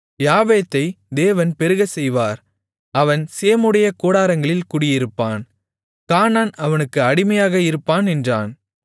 யாப்பேத்தை தேவன் பெருகச்செய்வார் அவன் சேமுடைய கூடாரங்களில் குடியிருப்பான் கானான் அவனுக்கு அடிமையாக இருப்பான் என்றான்